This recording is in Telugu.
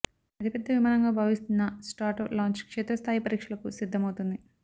అతిపెద్ద విమానంగా భావిస్తున్న స్ట్రాటో లాంచ్ క్షేత్రస్థాయి పరీక్షలకు సిద్ధం అవుతోంది